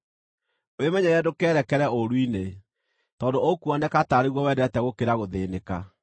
Wĩmenyerere ndũkeerekere ũũru-inĩ, tondũ ũkuoneka taarĩ guo wendete gũkĩra gũthĩĩnĩka.